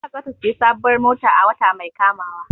Zainab zata siya sabuwar mota a wata mai kamawa